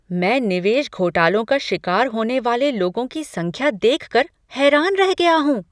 मैं निवेश घोटालों का शिकार होने वाले लोगों की संख्या देखकर हैरान रह गया हूँ।